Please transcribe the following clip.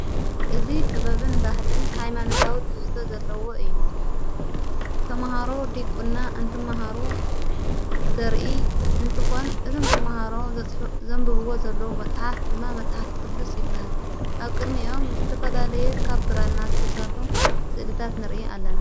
እዚ ጥበብን ባህልን ኃይማነታዊ ትሕስተ ዘለዎ እዩ ተምሃሮ ዲቊና እንትመሃሩ ዘርኢ እንትኾን እቶም ተመሃሮ ዘንብብዎ ዘለዉ መጽሓፍ ድማ መጽሓፍ ቅዱስ ይበሃል ኣብ ቅድሚ ኦም ዝተፈላለየ ካብ ብራና ዝተሠርሑ ስእልታት ንርኢ ኣለና::